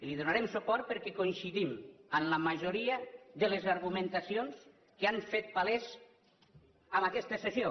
i hi donarem suport perquè coincidim amb la majoria de les argumentacions que s’han fet palès en aquesta sessió